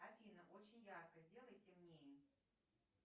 афина очень ярко сделай темнее